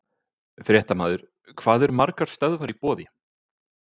Fréttamaður: Hvað eru margar stöðvar í boði?